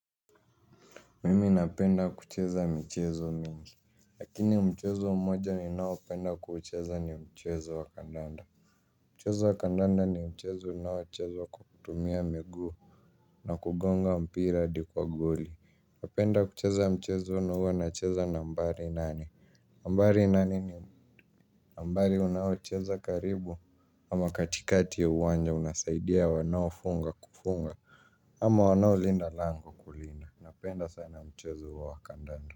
Mimi napenda kucheza michezo mingi. Lakini mchezo mmoja ninaopenda kuucheza ni mchezo wa kandanda. Mchezo wa kandanda ni mchezo unaochezwa kwa kutumia miguu. Na kugonga mpira hadi kwa goli. Kwa kuenda kucheza mchezo huwa nacheza nambari nane. Nambari nane ni nambari unaocheza karibu ama katikati ya uwanja unasaidia wanaofunga kufunga. Ama wanaolinda lango kulinda. Napenda sana mchezo huo wa kandanda.